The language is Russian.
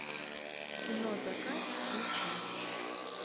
кино заказ включи